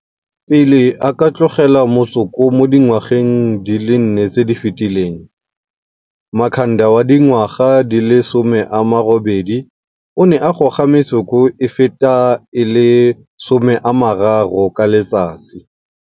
Pele a ka tlogela motsoko mo dingwageng di le nne tse di fetileng, Makhanda wa dingwaga di le 28 o ne a goga metsoko e feta e le 30 ka letsatsi.